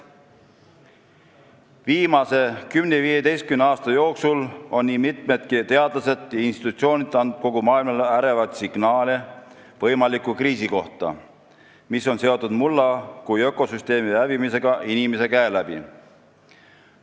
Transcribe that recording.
Viimase 10–15 aasta jooksul on nii mitmedki teadlased ja institutsioonid andnud kogu maailmale ärevaid signaale võimaliku kriisi kohta, mis on seotud mulla kui ökosüsteemi hävimisega inimese käe läbi.